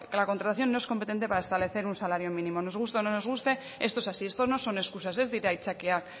la contratación no es competente para establecer un salario mínimo nos guste o no nos guste esto es así esto no son escusas ez dira aitzakiak